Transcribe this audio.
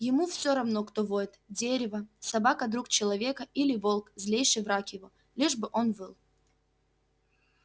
ему все равно кто воет дерево собака друг человека или волк злейший враг его лишь бы он выл